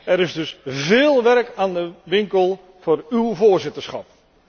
Er is dus veel werk aan de winkel voor uw voorzitterschap.